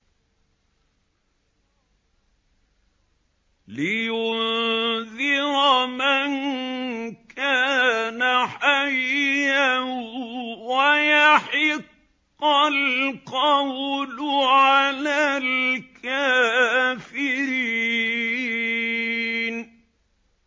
لِّيُنذِرَ مَن كَانَ حَيًّا وَيَحِقَّ الْقَوْلُ عَلَى الْكَافِرِينَ